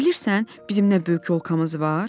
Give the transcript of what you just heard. Bilirsən, bizim nə böyük yolkamız var?